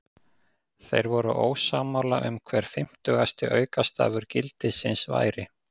Þeir voru ósammála um hver fimmtugasti aukastafur gildisins væri.